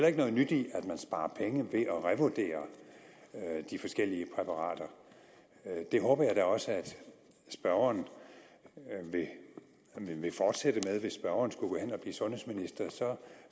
ikke noget nyt i at man sparer penge ved at revurdere de forskellige præparater det håber jeg da også at spørgeren vil fortsætte med hvis spørgeren skulle gå hen og blive sundhedsminister